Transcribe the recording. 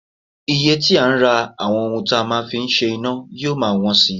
Iye tí a ń rà àwọn ohun tí a máa ń fi ń ṣe iná yóò máa wọ́n si